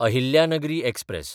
Ahilyanagari express